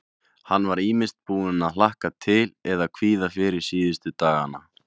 Hann var ýmist búinn að hlakka til eða kvíða fyrir síðustu dagana.